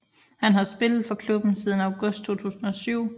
Han har spillet for klubben siden august 2007